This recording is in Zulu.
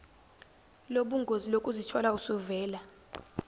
lobungozi lokuzithola usuvela